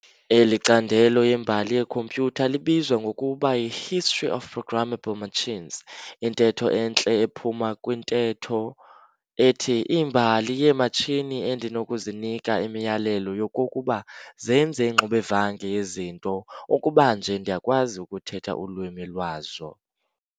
Eli candelo lembali yekhompyutha libizwa ngokuba y"i-history of programmable machines" intetho entle ephuma kwintetho ethi "Imbali yeematshini endinokuzinika imiyalelo yokokuba zenze ingxubevange yezinto ukuba nje ndiyakwazi ukuthetha ulwimi lwazo."